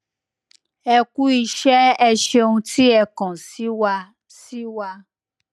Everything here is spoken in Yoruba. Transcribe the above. e ku ise e seun ti e kan si wa si wa